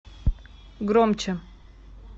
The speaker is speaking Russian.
громче